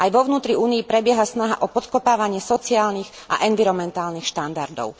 Aj vo vnútri Únie prebieha snaha o podkopávanie sociálnych a environmentálnych štandardov.